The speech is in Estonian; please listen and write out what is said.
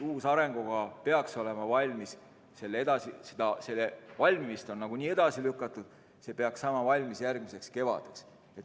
Uue arengukava valmimist on edasi lükatud, see peaks saama valmis järgmiseks kevadeks.